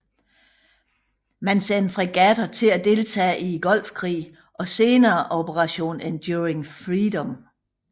Man sendte fregatter til at deltage i Golfkrigen og senere Operation Enduring Freedom